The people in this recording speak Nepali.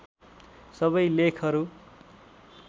सबै लेखहरू